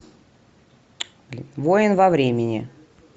воин во времени